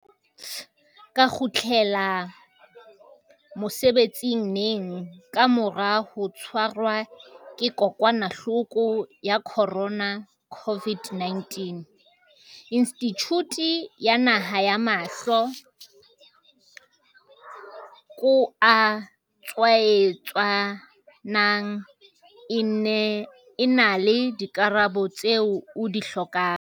ka kgutlela mosebetsing neng ka mora ho tshwarwa ke kokwanahloko ya corona, COVID-19, Institjhuti ya Naha ya Mahlo ko a Tshwaetsanang e na le dikarabo tseo o di hlokang.